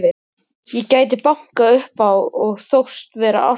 Ég gæti bankað upp á og þóst vera arkitekt.